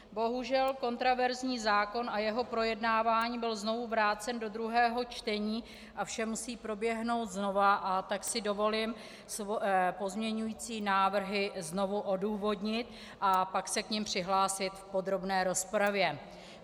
Bohužel kontroverzní zákon a jeho projednávání byl znovu vrácen do druhého čtení a vše musí proběhnout znova, a tak si dovolím pozměňující návrhy znovu odůvodnit a pak se k nim přihlásit v podrobné rozpravě.